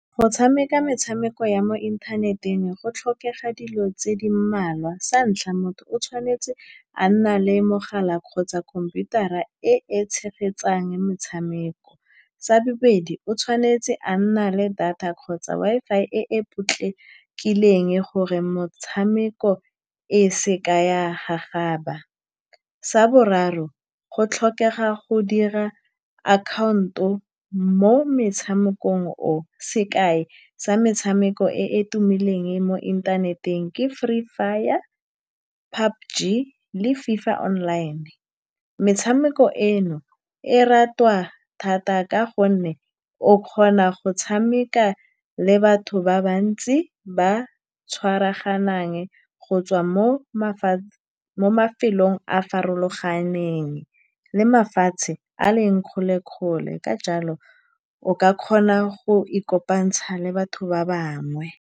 Go tshameka metshameko ya mo inthaneteng go tlhokega dilo tse di mmalwa. Santlha, motho o tshwanetse a nna le mogala kgotsa khomputara e e tshegetsang metshameko. Sa bobedi, o tshwanetse a nna le data kgotsa Wi-Fi e e potlakileng, gore motshameko e seka ya gagaba. Sa boraro, go tlhokega go dira akhaonto mo metshamekong o. Sekai sa metshameko e e tumileng mo inthaneteng ke Free Fire, le FIFA Online. Metshameko eno e ratwa thata ka gonne o kgona go tshameka le batho ba bantsi ba ba tshwaraganang, go tswa mo mo mafelong a a farologaneng le mafatshe a a leng kgole-kgole, ka jalo, o ka kgona go ikopantsha le batho ba bangwe.